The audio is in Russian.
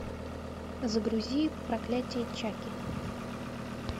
загрузи проклятие чаки